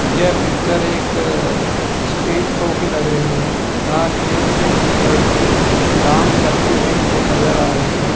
यह पिक्चर एक stage show की लग रही हैं जहां स्टेज पे एक लड़की डांस करते हुए मुझे नजर आ रही हैं।